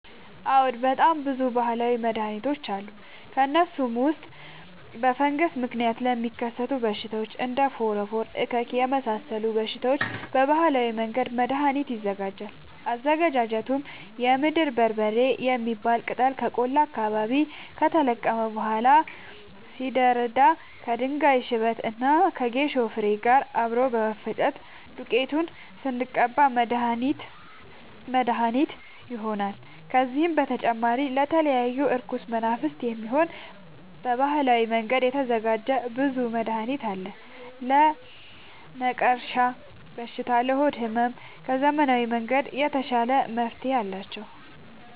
አዎድ በጣም ብዙ በሀላዊ መድሀኒቶች አሉ ከእነሱም ውስጥ በፈንገስ ምክንያት ለሚከሰቱ በሽታዎች እንደ ፎረፎር እከክ የመሳሰሉ በሽታዎች በባህላዊ መንገድ መድሀኒት ይዘጋጃል አዘገጃጀቱም የምድር በርበሬ የሚባል ቅጠል ከቆላ አካባቢ ከተለቀመ በኋላ ሲደርዳ ከድንጋይ ሽበት እና ከጌሾ ፋሬ ጋር አብሮ በመፈጨት ዱቄቱን ስንቀባ መድሀኒት መድሀኒት ይሆነናል። ከዚህም በተጨማሪ ለተለያዩ እርኩስ መናፍት፣ የሚሆን በባህላዊ መንገድ የተዘጋጀ ብዙ መድሀኒት አለ። ለነቀርሻ በሽታ ለሆድ ህመም ከዘመናዊ መንገድ የተሻለ መፍትሄ አላቸው።